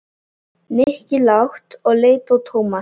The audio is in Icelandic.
Nikki lágt og leit á Tómas.